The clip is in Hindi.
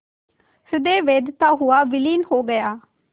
हृदय वेधता हुआ विलीन हो गया